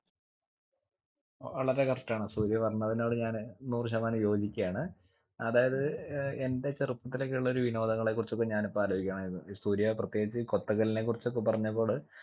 വളരെ correct ആണ് സൂര്യ പറഞ്ഞതിനോട് ഞാൻ നൂറ് ശതമാനം യോജിക്കയാണ് അതായത് ഏർ എന്റെ ചെറുപ്പത്തിലൊക്കെയുള്ളൊരു വിനോദങ്ങളെ കുറിച്ചൊക്കെ ഞാനിപ്പൊ ആലോചിക്കുകയാണെയിരുന്നു ഏർ സൂര്യാ പ്രത്യേകിച്ച് കൊത്തങ്കല്ലിനെ കുറിച്ചൊക്കെ പറഞ്ഞതോട്